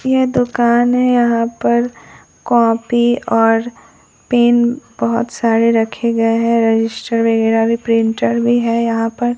यह दुकान है यहां पर कॉपी और पेन बहोत सारे रखे गए है रजिस्टर वगैरा भी प्रिंटर भी है यहां पर--